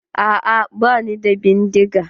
Aa bani da bindiga.